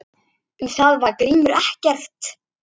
Um það veit Grímur ekkert.